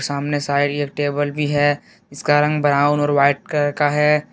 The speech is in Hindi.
सामने शायद एक टेबल भी है इसका रंग ब्राउन और व्हाइट कलर है।